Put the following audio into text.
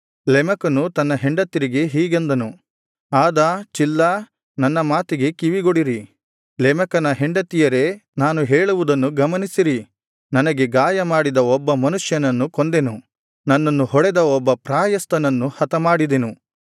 ಲೆಮೆಕನು ತನ್ನ ಹೆಂಡತಿಯರಿಗೆ ಹೀಗೆಂದನು ಆದಾ ಚಿಲ್ಲಾ ನನ್ನ ಮಾತಿಗೆ ಕಿವಿಕೊಡಿರಿ ಲೆಮೆಕನ ಹೆಂಡತಿಯರೇ ನಾನು ಹೇಳುವುದನ್ನು ಗಮನಿಸಿರಿ ನನಗೆ ಗಾಯ ಮಾಡಿದ ಒಬ್ಬ ಮನುಷ್ಯನನ್ನು ಕೊಂದೆನು ನನ್ನನ್ನು ಹೊಡೆದ ಒಬ್ಬ ಪ್ರಾಯಸ್ಥನನ್ನು ಹತಮಾಡಿದೆನು